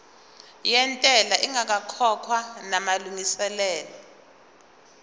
yentela ingakakhokhwa namalungiselo